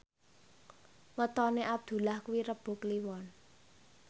wetone Abdullah kuwi Rebo Kliwon